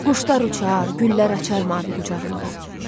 Quşlar uçar, güllər açar mavi qucağında.